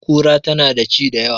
Kura tana da ci da yawa